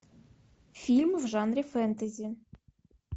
фильм в жанре фэнтези